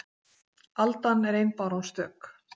Aldan er ein báran stök